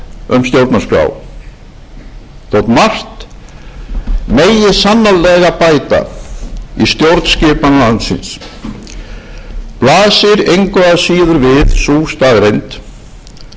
um stjórnarskrá þótt margt megi sannarlega bæta í stjórnskipun landsins blasir engu að síður við sú staðreynd að stjórnarskráin sem